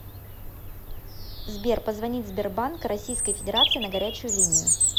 сбер позвонить сбербанк российской федерации на горячую линию